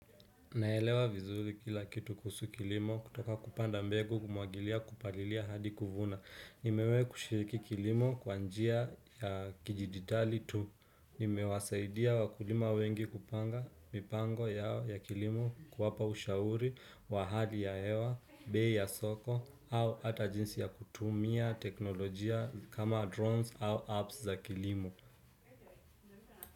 Naelewa vizuri kila kitu kuhusu kilimo kutoka kupanda mbegu kumwagilia kupalilia hadi kufuna. Nimewahi kushiriki kilimo kwa njia ya kijiditali tu. Nimewasaidia wakulima wengi kupanga mipango yao ya kilimo kuwapa ushauri, wa hali ya hewa, bei ya soko au ata jinsi ya kutumia teknolojia kama drones au apps za kilimo.